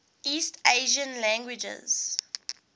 east asian languages